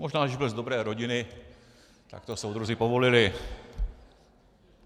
Možná že byl z dobré rodiny, tak to soudruzi povolili.